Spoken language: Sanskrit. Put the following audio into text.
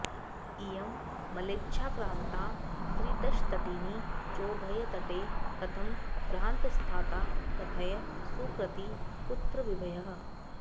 इयं म्लेच्छाक्रान्ता त्रिदशतटिनी चोभयतटे कथं भ्रान्तस्थाता कथय सुकृती कुत्र विभयः